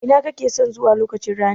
Ina kakeson zuwa lokaci ranin?